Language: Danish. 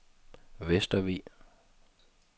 Vestervig